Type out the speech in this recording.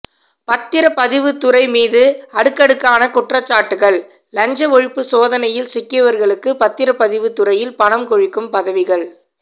பத்திரப்பதிவுத்துறை மீது அடுக்கடுக்கான குற்றச்சாட்டுகள் லஞ்ச ஒழிப்பு சோதனையில் சிக்கியவர்களுக்கு பத்திரப்பதிவு துறையில் பணம் கொழிக்கும் பதவிகள்